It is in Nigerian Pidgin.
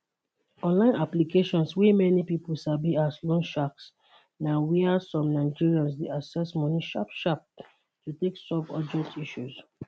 online applications wey many pipo sabi as loan sharks na wia some nigerians dey access money sharp sharp to take solve urgent issues